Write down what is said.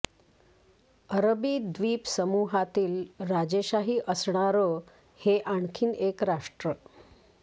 अरबी द्वीपसमूहातील राजेशाही असणार हे आणखी एक राष्ट्र